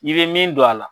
I bɛ min don a la